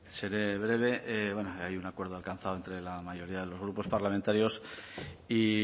seré breve hay un acuerdo alcanzado entre la mayoría de los grupos parlamentarios y